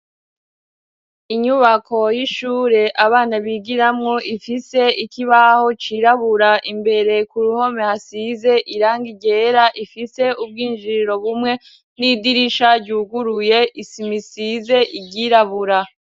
Inyubako y'ishure abana bigiramwo ifise ikibaho cirabura imbere ku ruhome hasize iranga irera ifise ubwinjiriro bumwe n'idirisha ryuguruye isima isize iryirabura.